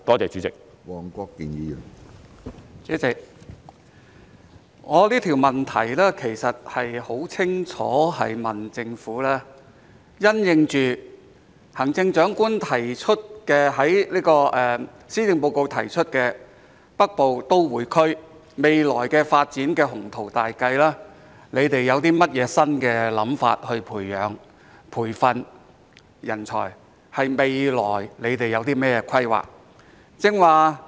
主席，我這項質詢其實很清楚是問政府，因應行政長官在施政報告提出的北部都會區未來發展的雄圖大計，政府有何新想法以培養或培訓人才，是問政府未來有何規劃。